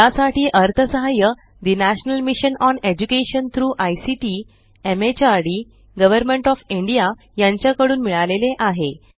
यासाठी अर्थसहाय्य the national mission on education through ICT MHRD government of India यांच्या कडून मिळाले आहे